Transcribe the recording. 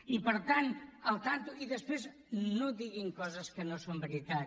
i per tant compte i després no diguin coses que no són veritat